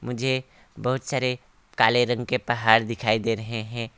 मुझे बहुत सारे काले रंग के पहाड़ दिखाई दे रहे हैं।